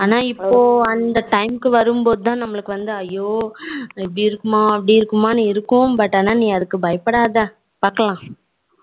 ஆனா இப்போ அந்த time க்கு வரும் போதுதான் நம்மளுக்கு ஐயோ இப்படி இருக்குமோ அப்படி இருக்குமோ இருக்கும் ஆனா நீ அதுக்கு பயப்படாத பாக்கலாம்